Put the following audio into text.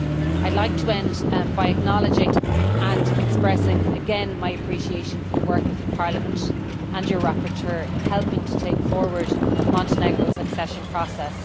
I would like to end by acknowledging and expressing again my appreciation for the work of Parliament, and of your rapporteur, in helping to take forward Montenegro's accession process.